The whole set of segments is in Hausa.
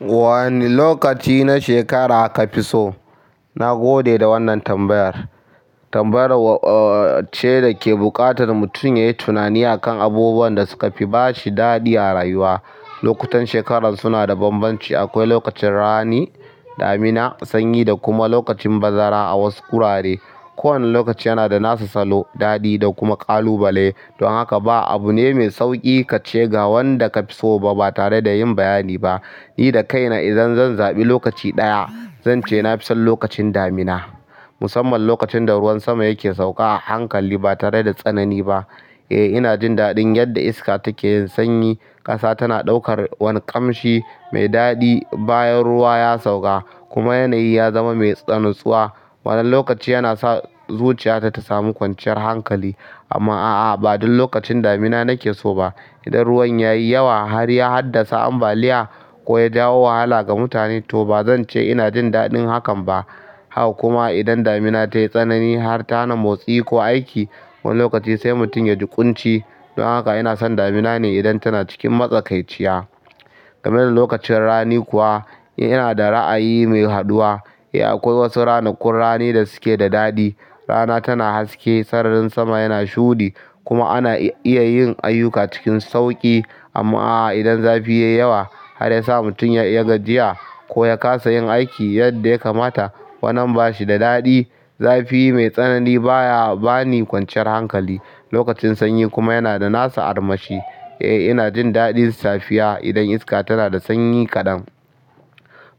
Wane lokaci na shekara aka fi so? Na gode da wannan tambayar. Tambaya ce da ke buƙatar mutum ya yi tunani a kan abubuwan da suka fi ba shi daɗi a rayuwa. Lokutan shekarar suna da bambanci. Akwai lokacin rani, damina, sanyi da kuma lokacin bazara a wasu wurare. Kowane lokaci yana da nasa salo, daɗi da kuma ƙalubale. Don haka ba abune mai sauƙi kace ga wanda kafiso batare da yin bayani ba ni da kaina, idan zan zaɓi lokaci ɗaya, zan ce na fi son lokacin damina. Musamman lokacin da ruwan sama yake sauka a hankali ba tare da tsanani ba. Eh, ina jin daɗin yadda iska take yin sanyi, ƙasa tana ɗaukar wani ƙamshi mai daɗi bayan ruwa ya sauka kuma yanayi ya zama mai tsanantsuwa. Wani lokaci yana sa zuciya ta ta samu kwanciyar hankali amma a'a, ba duk lokacin damina nake so ba. Idan ruwan ya yi yawa har ya haddasa ambaliya ko ya jawo wahala ga mutane, to ba zan ce ina jin daɗin hakan ba. Haka kuma idan damina ta yi tsanani har ta hana motsi ko aiki. Wani lokaci sai mutum ya ji ƙunci. Don haka ina son damina ne idan tana cikin matsakaiciya. Game da lokacin rani kuwa, ina da ra'ayi mai haɗuwa. Eh, akwai wasu ranakun rani da suke da daɗi. Rana tana haske, sararin sama yana shuɗi kuma ana iya yin ayyuka cikin sauƙi. Amma a'a, idan zafi ya yi yawa har ya sa mutum ya yi gajiya ko ya ƙasa yin aiki yadda ya kamata, wannan ba shi da daɗi. Zafi mai tsanani baya ba ni kwanciyar hankali. Lokacin sanyi kuma yana da nasa armashi. Eh, ina jin daɗin safiya idan iska tana da sanyi kaɗan.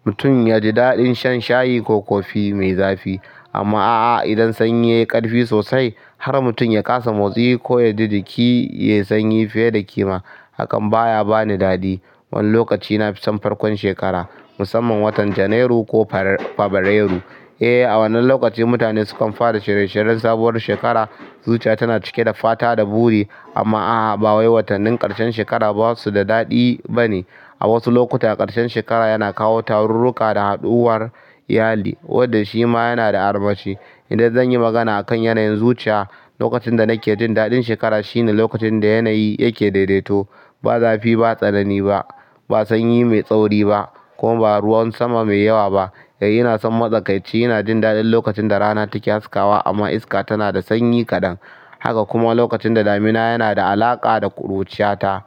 Mutum ya ji daɗin shan shayi ko kofi mai zafi. Amma a'a, idan sanyi ya yi ƙarfi sosai har mutum ya ƙasa motsi ko ya ji jiki, ya yi sanyi fiye da kima, hakan baya ba ni daɗi. Wani lokaci ina fi son farkon shekara, musamman watan Janairu ko Fabrairu. Eh, a wannan lokaci mutane sukan fara shirye shiryen sabuwar shekara. Zuciya tana cike da fata da buri. Amma a'a, ba wai watannin ƙarshen shekara ba su da daɗi ba ne. A wasu lokuta ƙarshen shekara yana kawo wasu tarurruka da taron iyali wanda shima yana da armashi idan zan yi magana a kan yanayin zuciya, lokacin da nake jin daɗin shekara shine lokacin da yanayi yake daidaito. Ba zafi, ba tsanani ba, ba sanyi mai tsauri ba kuma ba ruwan sama mai yawa ba. Eh, ina son matsakaici. Ina jin daɗin lokacin da rana take haskawa amma iska tana da sanyi kaɗan. Haka kuma lokacin da damina yana da alaƙa da ƙuruciyata.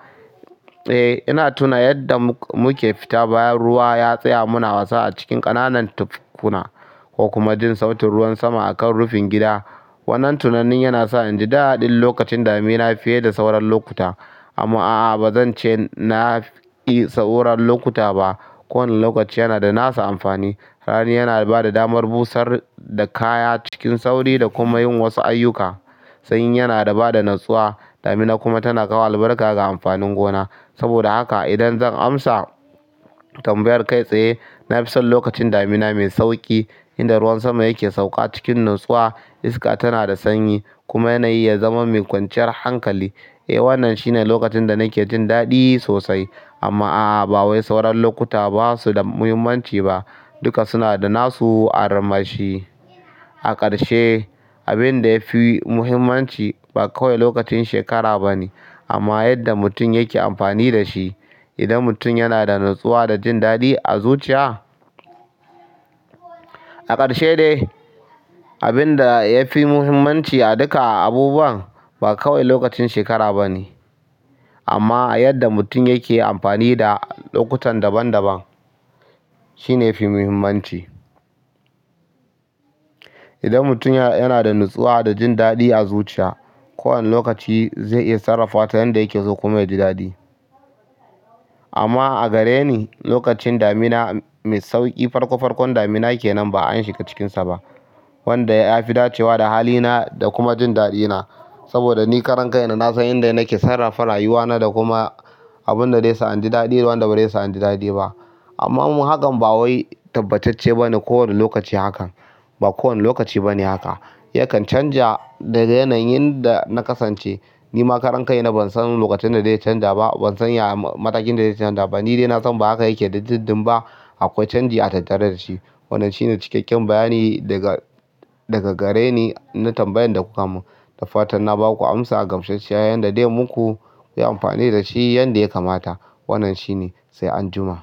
Eh, ina tuna yadda muke fita bayan ruwa ya tsaya muna wasa a cikin ƙananan tafkuna ko kuma jin sautin ruwan sama a kan rufin gida. Wannan tunanin yana sa in ji daɗin lokacin damina fiye da sauran lokuta. Amma a'a, ba zan ce na fi sauran lokuta ba. Kowane lokaci yana da nasa amfani. Rani yana ba da damar busar da kaya cikin sauri da kuma yin wasu ayyuka. Sanyi yana ba da natsuwa. Damina kuma tana kawo albarka ga amfanin gona. Saboda haka idan zan amsa tambayar kai tsaye, na fi son lokacin damina mai sauƙi inda ruwan sama yake sauƙa cikin natsuwa, iska tana da sanyi kuma yanayi ya zama mai kwanciyar hankali. Eh, wannan shine lokacin da nake jin daɗi sosai. Amma a'a, ba wai sauran lokuta ba su da muhimmanci ba. Duka suna da nasu armashi. A ƙarshe, abin da ya fi muhimmanci ba kawai lokacin shekara ba ne amma yadda mutum yake amfani da shi. Idan mutum yana da natsuwa da jin daɗi a zuciya. A ƙarshe dai, abin da ya fi muhimmanci a duka abubuwan ba kawai lokacin shekara ba ne amma yadda mutum yake amfani da lokutan daban daban shine yafi muhimmanci. Idan mutum yana da natsuwa da jin daɗi a zuciya, kowane lokaci zai iya sarrafa ta yadda yake so kuma ya ji daɗi. Amma a gare ni, lokacin damina mai sauƙi, farko farkon damina ke nan ba an shiga cikinsa ba, wanda ya fi dacewa da halina da kuma jin daɗina. Saboda ni karan kai na, na san inda yake sarrafa rayuwana da kuma abin da zai sa inji daɗi da wanda bai sa inji daɗi ba. Amma hakan ba wai tabbacacce ba ne kowane lokaci hakan. Ba kowane lokaci ba ne haka. Yakan canja daga yanayin da na kasance. Ni ma karan kai na, ban san lokacin da zai canja ba, ban san matakin da zai canja ba. Ni dai na san ba haka yake da dindin ba. Akwai canji a tattare da shi. Wannan shine cikakken bayani daga, daga gare na tambayan da kuka mun. Da fatan na ba ku amsa gamshshiya yadda dai muku ku yi amfani da shi yadda ya kamata. Wannan shi ne, sai an jima.